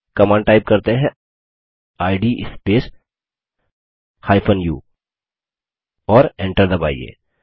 command type करते हैं id space u और enter दबाइए